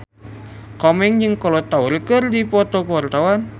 Komeng jeung Kolo Taure keur dipoto ku wartawan